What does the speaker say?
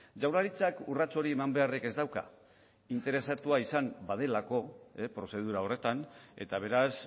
jaurlaritzak urrats hori eman beharrik ez dauka interesatua izan badelako prozedura horretan eta beraz